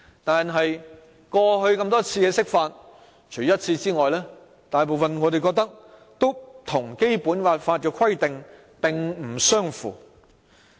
但是，過去多次的釋法，除一次外，大部分都與《基本法》的規定並不相符。